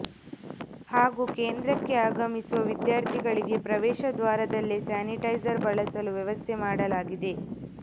ಹಾಗೂ ಕೇಂದ್ರಕ್ಕೆ ಆಗಮಿಸುವ ವಿದ್ಯಾರ್ಥಿಗಳಿಗೆ ಪ್ರವೇಶ ದ್ವಾರದಲ್ಲೇ ಸ್ಯಾನಿಟೈಜರ್ ಬಳಸಲು ವ್ಯವಸ್ಥೆ ಮಾಡಲಾಗಿದೆ